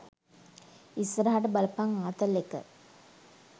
ඉස්සරහට බලපං ආතල් එක.